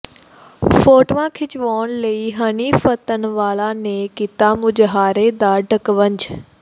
ਫ਼ੋਟੋਆਂ ਖਿੱਚਵਾਉਣ ਲਈ ਹਨੀ ਫੱਤਣਵਾਲਾ ਨੇ ਕੀਤਾ ਮੁਜ਼ਾਹਰੇ ਦਾ ਢਕਵੰਜ